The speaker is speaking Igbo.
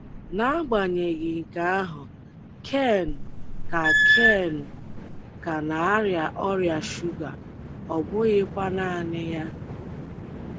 N'agbanyeghị nke ahụ, Ken ka Ken ka na-arịa ọrịa shuga, ọ bụghịkwa naanị ya.